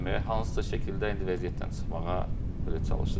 Hansısa şəkildə indi vəziyyətdən çıxmağa belə çalışırıq.